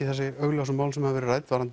þessi augljósu mál sem hafa verið rædd varðandi